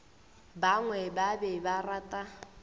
bangwe ba be ba rata